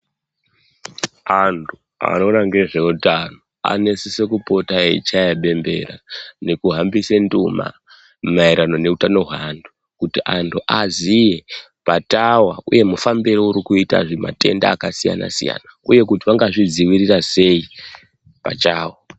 Antu anoona nezvehutano Anosisa kupota eichaya dendera kuhambisa nduma maererano nehutano hwevanhu kuti antu azive patava uye mufambiro uri kuita zvematenda akasiyana siyana uye kuti vanga zvidzivirire sei pachavo.